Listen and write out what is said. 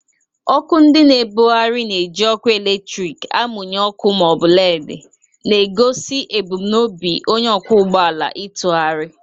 Ọkụ ndị na-ebugharị na-eji ọkụ eletrik amụnye ọkụ ma ọ bụ LEDI, na-egosi ebumnobi onye ọkwọ ụgbọ ala ịtụgharị.